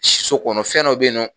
Siso kɔnɔ fɛnw dɔ be yen nɔ